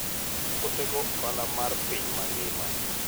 Otego ohala mar piny mangima.